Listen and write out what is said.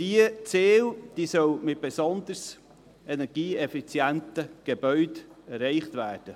Diese Ziele sollen mit besonders energieeffizienten Gebäuden erreicht werden.